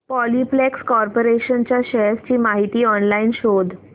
Polyplex corporation च्या shares ची माहिती ऑनलाइन शोध